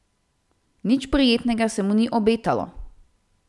Nič prijetnega se mu ni obetalo.